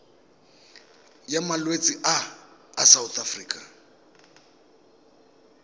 ya malwetse a a sa